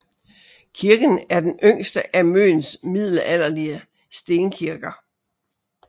Kirken er den yngste af Møns middelalderlige stenkirker